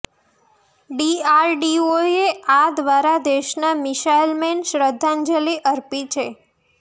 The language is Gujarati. ડીઆરડીઓએ આ દ્વારા દેશના મિસાઇલ મેન શ્રદ્ધાજંલિ અર્પી છે